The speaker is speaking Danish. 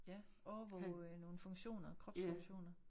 Ja overvåge nogle funktioner kropsfunktioner